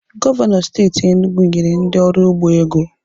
Gọvanọ steeti Enugwu nyere ndị ọrụ ugbo ego